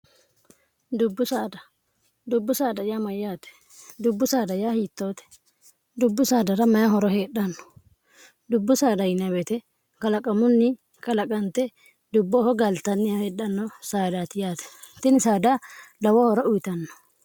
dubbu saada yaa mayyaate dubbu saada yaa hiittoote dubbu saadara maya horo heedhanno dubbu saada inbeete kalaqamunni kalaqante dubbooho gaaltanni heedhanno saadaati yaate itini saada dawoo horo uyitanno